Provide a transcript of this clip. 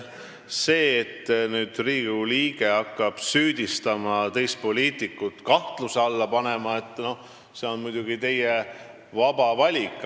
See, kui te Riigikogu liikmena hakkate süüdistama teist poliitikut ja teda kahtluse alla panema, on muidugi teie vaba valik.